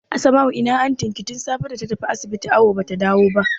Asma'u ina antin ki tun safe data tafi asibiti awu bata dawo ba?